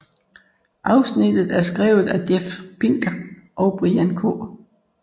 Afsnittet er skrevet af Jeff Pinkner og Brian K